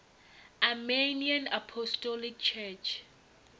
armenian apostolic church